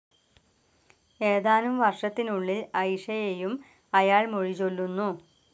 ഏതാനും വർഷത്തിനുള്ളിൽ അയിഷയെയും അയാൾ മൊഴിചൊല്ലുന്നു.